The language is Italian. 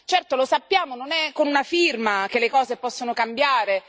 Certo, lo sappiamo, non è con una firma che le cose possono cambiare.